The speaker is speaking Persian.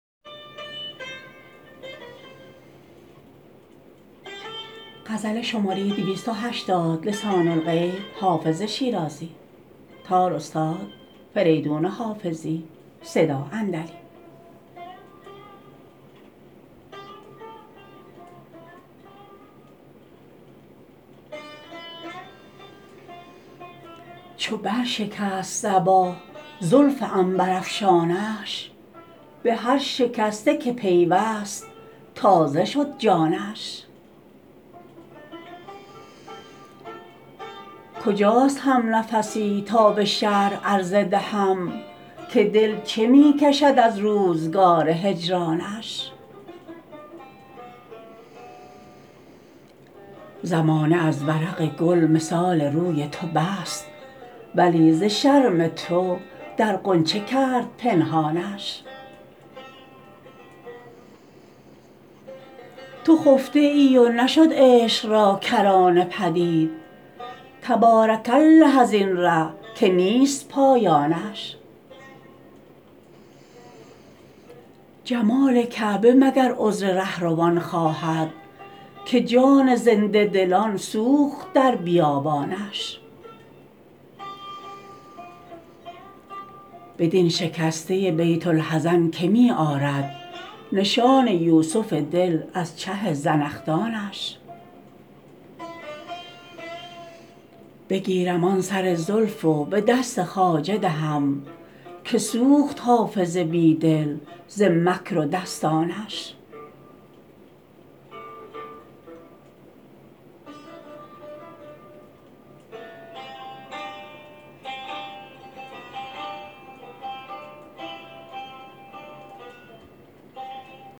چو بر شکست صبا زلف عنبرافشانش به هر شکسته که پیوست تازه شد جانش کجاست همنفسی تا به شرح عرضه دهم که دل چه می کشد از روزگار هجرانش زمانه از ورق گل مثال روی تو بست ولی ز شرم تو در غنچه کرد پنهانش تو خفته ای و نشد عشق را کرانه پدید تبارک الله از این ره که نیست پایانش جمال کعبه مگر عذر رهروان خواهد که جان زنده دلان سوخت در بیابانش بدین شکسته بیت الحزن که می آرد نشان یوسف دل از چه زنخدانش بگیرم آن سر زلف و به دست خواجه دهم که سوخت حافظ بی دل ز مکر و دستانش